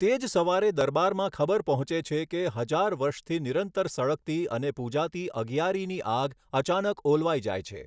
તે જ સવારે દરબારમાં ખબર પહોંચે છે કે હજાર વર્ષથી નિરંતર સળગતી અને પૂજાતી અગિયારમીની આગ અચાનક ઓલવાય જાય છે.